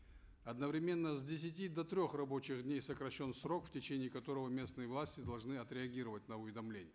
одновременно с десяти до трех рабочих дней сокращен срок в течение которого местные власти должны отреагировать на уведомление